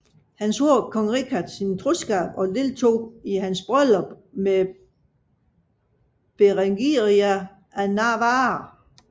Han svor Kong Richard sin troskab og deltog i hans bryllup med Berengaria af Navarra